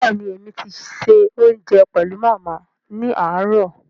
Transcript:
Béèni èmi ti ṣe òunjẹ pẹlu Màmá ni aarọ̀